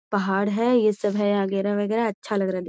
पहाड़ है ये सब है एगरा-वगैरा अच्छा लग रहा --